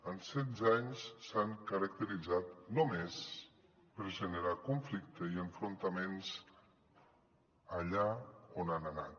en setze anys s’han caracteritzat només per generar conflicte i enfrontaments allà on han anat